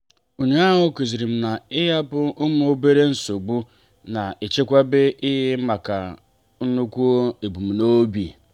ụnyaahụ kụzirim na-ịhapụ ụmụ obere nsogbu obi na-echekwaba ike maka nnukwu ebumnobi.